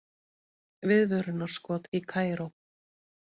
Viðvörunarskot í Kaíró